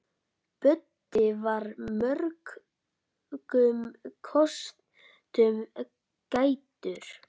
Böddi var mörgum kostum gæddur.